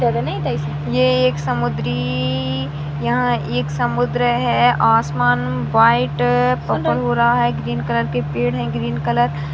ये एक समुद्री यहाँ एक समुद्र है आसमान व्हाइट पर्पल हो रहा है ग्रीन कलर के पेड़ हैं ग्रीन कलर --